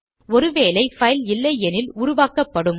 ஒரு வேளை பைல் இல்லையெனில் உருவாக்கப்படும்